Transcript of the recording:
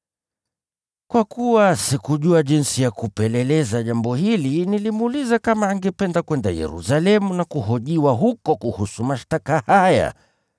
Kwa kuwa sikujua jinsi ya kupeleleza jambo hili, nilimuuliza kama angependa kwenda Yerusalemu na kuhojiwa huko kuhusu mashtaka haya.